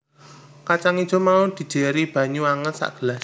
Kacang ijo mau dijéri banyu anget sagelas